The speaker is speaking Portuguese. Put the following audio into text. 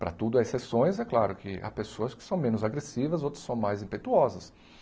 Para tudo há exceções, é claro que há pessoas que são menos agressivas, outras são mais impetuosas.